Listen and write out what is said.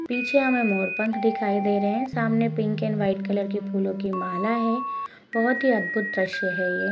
पीछे हमे मोर पंख दिखाई दे रहे हैं सामने पिंक एण्ड व्हाइट कलर की फूलों की माला है बहौत ही अधबुद्ध द्रश्य है ये।